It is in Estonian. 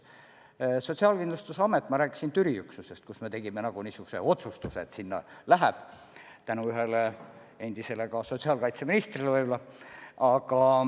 Võtame Sotsiaalkindlustusameti – ma rääkisin selle Türi üksusest, mille kohta me tegime niisuguse otsustuse tänu ka ühele endisele sotsiaalkaitseministrile võib-olla.